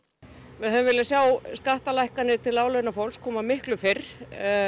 við hefðum viljað sjá skattalækkanir til láglaunafólks koma miklu fyrr